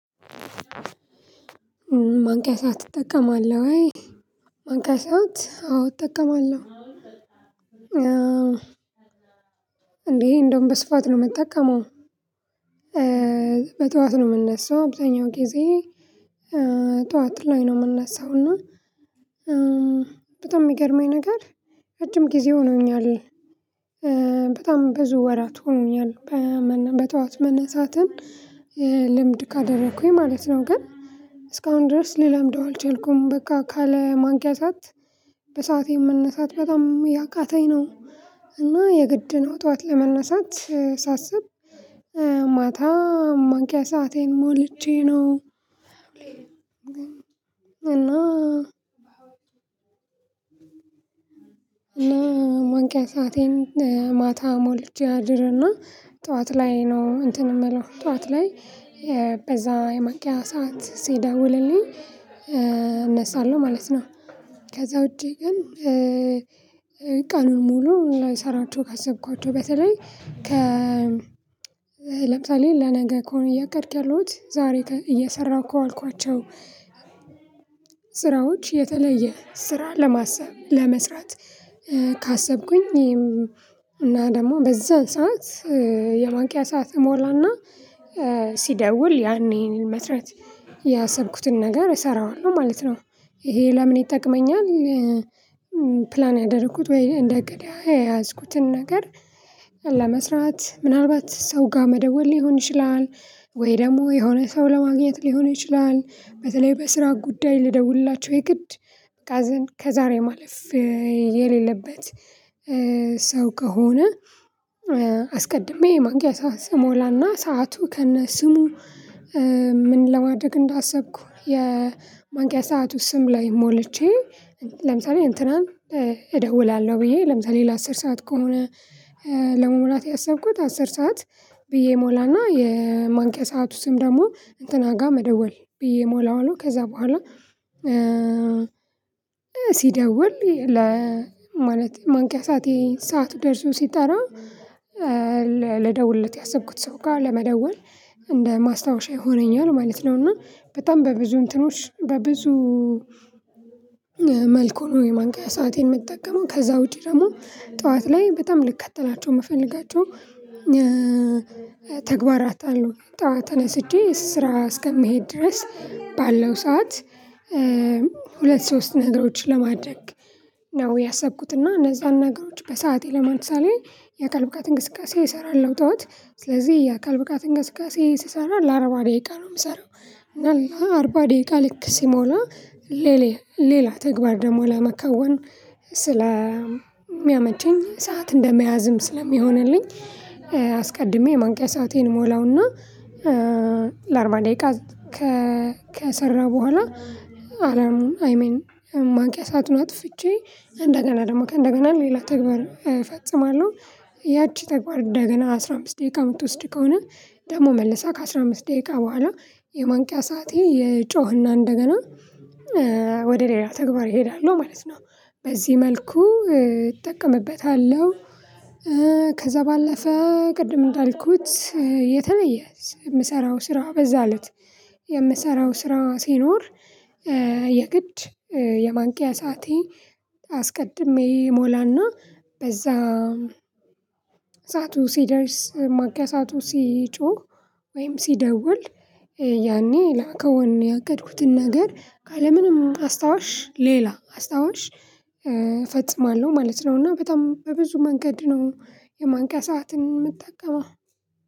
ማንቂያ ሰዓት ትጠቀማለህ ወይ? ማንቂያ ሰዓት አዎ እጠቀማለሁ እንዴ እንደውም በስፋት ነው የምጠቀመው። በጧት ነው የምንነሳው አብዛኛው ጊዜ ጧት ላይ ነው የምንነሳው እና። በጣም የሚገርመኝ ነገር ረጅም ጊዜ ሆኖኛል በ በጣም ብዙ ወራት ሆኖኛል በጠዋት መነሳትን ልምድ ካደረኩኝ ማለት ነው። ግን እስካሁን ድረስ ልለምደው አልቻልኩም በቃ ካለ ማንኪያ ሰዓት በሰአቴ የመነሳት በጣም እያቃተኝ ነው። እና የግድ ነው ጠዋት ለመነሳት ሳስብ ማታ ማንቂያ ሰአቴን ሞልቼ ነው። እና እና ማንቂያ ሰአቴን ማታ ሞልቼ አድርና ጠዋት ላይ ነው እንትን የምለው ጠዋት ላይ በዛ የማንቂያ ሰዓት ሲደውልልኝ እነሳለሁ ማለት ነው። ከዛ ውጪ ግን ቀኑን ሙሉ እንዳንሰራቸው ካሰብኳቸው በተለይ ከ ለምሳሌ ለነገ ከሆነ እያቀድኩ ያለሁት ዛሬ እየሰራሁ ከዋልኳቸው ስራዎች የተለየ ስራ ለማሰብ ለመስራት ካሰብኩኝ። እና ደግሞ በዛ ሰዓት የማንቂያ ሰዓት እሞላና ሲደውል ያኔን መስራት ያሰብኩትን ነገር እሰራዋለሁ ማለት ነው። ይሄ ለምን ይጠቅመኛል? ፕላን ያደረኩት ወይ እንደ እቅድ የያዝኩትን ነገር ለመስራት ምናልባት ሰው ጋር መደወል ሊሆን ይችላል ወይ ደግሞ የሆነ ሰው ለማግኘት ሊሆን ይችላል። በተለይ በስራ ጉዳይ ልደውልላቸው የግድ ካዝን ከዛሬ ማለፍ የሌለበት ሰው ከሆነ። አስቀድሜ የማንቂያ ሰዓህ ስሞላና ሰዓቱ ከነ ስሙ ምን ለማድረግ እንዳሰብኩ የማንቂያ ሰዓቱ ስም ላይ ሞልቼ። ለምሳሌ እንትናን እደውላለሁ ብዬ ለምሳሌ ለአስር ሰዓት ከሆነ ለመሙላት ያሰብኩት አስር ሰዓት ብዬ እሞላና የማንቂያ ሰዓቱ ስም ደግሞ እንትና ጋር መደወል ብዬ ሞላዋለሁ። ከዛ በኋላ ሲደውል ለ ማለት ማንቂያ ሰዓቴ ሰዓቱ ደርሶ ሲጠራ ልደውልለት ያሰብኩት ሰው ጋር ለመደወል እንደ ማስታወሻ ይሆነኛል ማለት ነው። እና በጣም በብዙ እንትኖች በብዙ መልኩ ነው የማንቂያ ሰአቴን የምትጠቀመው ከዛ ውጪ ደግሞ ጠዋት ላይ በጣም ልከተላቸው የምፈልጋቸው። ተግባራት አሉ ጠዋት ተነስቼ ስራ እስከምሄድ ድረስ ባለው ሰዓት ሁለት ሶስት ነገሮችን ለማድረግ ነው ያሰብኩትና እነዛን ነገሮች በሰአቴ ለማንሳሌ የአካል ብቃት እንቅስቃሴ እሰራለሁ ጠዋት ስለዚህ የአካል ብቃት እንግስቃሴ ስሰራ ለአርባ ደቂቃ ነው የምሰራው። እና ለአርባ ደቂቃ ልክ ሲሞላ ሌላ ተግባር ደግሞ ለመከወን ስለሚያመቸኝ ሰዓት እንደመያዝም ስለሚሆንልኝ። አስቀድሜ የማንቂያ ሰአቴን እሞላውና ለአርባ ደቂቃ ከ ከሰራ በኋላ አረም አይሜን ማንቂያ ሰአቱን አጥፍቼ እንደገና ደግሞ ከእንደገና ሌላ ተግባር እፈጽማለሁ። ያቺ ተግባር እንደገና አስራ አምስት ደቂቃ የምትወስድ ከሆነ ደግሞ መልሳ ከአስራ አምስት ደቂቃ በኋላ የማንቂያ ሰዓቴ ይጮህና እንደገና ወደ ሌላ ተግባር እሄዳለሁ ማለት ነው። በዚህ መልኩ እጠቀምበታለሁ። ከዛ ባለፈ ቅድም እንዳልኩት የተለየ የምሰራው ስራ በዛለት የምሰራው ስራ ሲኖር የግድ የማንቂያ ሰዓቴ አስቀድሜ እሞላና በዛ ሰዓቱ ሲደርስ ማንቂያ ሰዓቱ ሲጮህ ወይም ሲደውል ያኔ ለመከውን ያቀድኩትን ነገር ካለምንም አስታዋሽ ሌላ አስታዋሽ እፈጽማለሁ ማለት ነው። እና በጣም በብዙ መንገድ ነው የማንቂያ ሰዓትን የምጠቀመው።